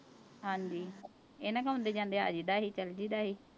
ਹਾਂਜੀ ਇਹਨਾਂ ਕੋਲ ਆਉਂਦੇ ਜਾਂਦੇ ਆ ਜਾਈਦਾ ਸੀ ਚਲੀ ਜਾਈਦਾ ਸੀ।